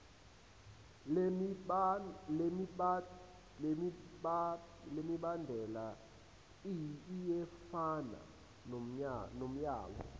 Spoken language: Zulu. lemibandela iyefana nomyalo